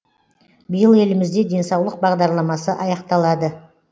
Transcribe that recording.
биыл елімізде денсаулық бағдарламасы аяқталады